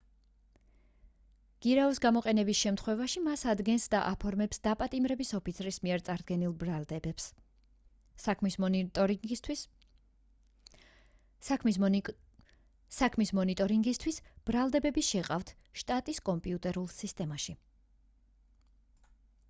გირაოს გამოყენების შემთხვევაში მას ადგენს და აფორმებს დაპატიმრების ოფიცრის მიერ წარდგენილ ბრალდებებს საქმის მონიტორინგისთვის ბრალდებები შეჰყავთ შტატის კომპიუტერულ სისტემაში